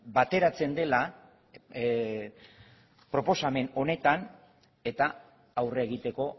bateratzen dela proposamen honetan eta aurre egiteko